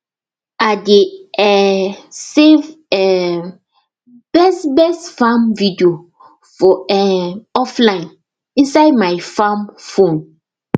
i dey um save um best best farm video for um offline inside my farm phone